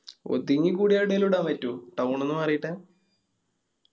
ഒതിങ്ങിക്കൂടി എവിടേലും ഇടാൻ പറ്റോ? town ന്ന് മാറിയിട്ട്.